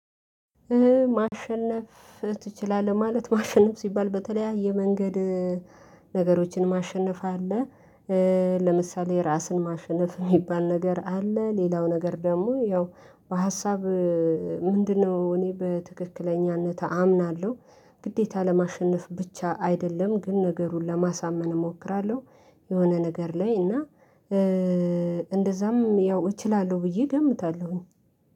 ማሸነፍ ትችላለህ ማለት ማሸነፍ ሲባል በተለያየ መንገድ ነገሮችን ማሸነፍ አለ። ለምሳሌ ራስን ማሸነፍ የሚባል ነገር አለ ሌላው ነገር ደግሞ ያው በሀሳብ ምንድነው እኔ በትክክለኛነት አምናለሁ። ግዴታ ለማሸነፍ ብቻ አይደለም ግን ነገሩን ለማሳመን እሞክራለሁ። የሆነ ነገር ላይ እና እንደዛም ያው እችላለሁ ብዬ እገምታለሁኝ